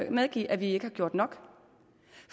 medgive at vi ikke har gjort nok